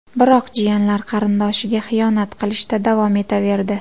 Biroq jiyanlar qarindoshiga xiyonat qilishda davom etaverdi.